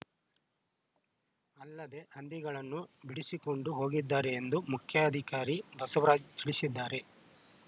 ಅಲ್ಲದೆ ಹಂದಿಗಳನ್ನು ಬಿಡಿಸಿಕೊಂಡು ಹೋಗಿದ್ದಾರೆ ಎಂದು ಮುಖ್ಯಾಧಿಕಾರಿ ಬಸವರಾಜ್‌ ತಿಳಿಸಿದ್ದಾರೆ